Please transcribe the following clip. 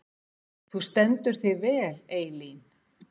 Þú stendur þig vel, Eylín!